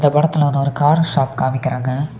தூரத்தில் வந்து ஒரு கார் ஷாப் காமிக்கிறாங்க.